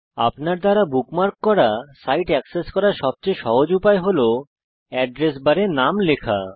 আপনার দ্বারা বুকমার্ক করা সাইট অ্যাক্সেস করার সবচেয়ে সহজ উপায় হল এড্রেস বারে নাম লেখা